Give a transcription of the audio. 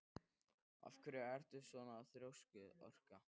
Af hverju ertu svona þrjóskur, Orka?